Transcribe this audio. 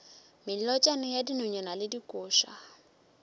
melotšana ya dinonyane le dikoša